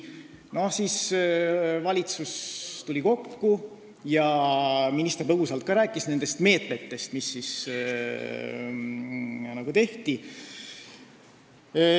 Siis tuli valitsus kokku ja minister põgusalt rääkis nendest meetmetest, mis nagu võeti.